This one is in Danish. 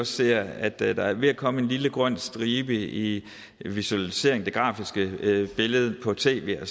ser at der alligevel er ved at komme en lille grøn stribe i visualiseringen det grafiske billede på tv og